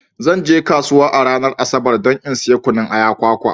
Zan je kasuwa a ranar Asabar don in saya kunun aya, kwakwa.